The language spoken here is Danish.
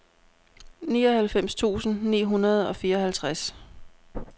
nioghalvfems tusind ni hundrede og fireoghalvtreds